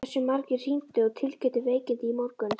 Hversu margir hringdu og tilkynntu veikindi í morgun?